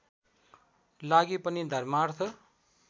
लागि पनि धर्मार्थ